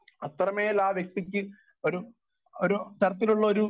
speaker 1 അത്രമേൽ ആ വ്യക്തിക്ക് ഒരു ഒരു തരത്തിലുള്ള ഒരു